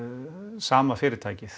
sama fyrirtækið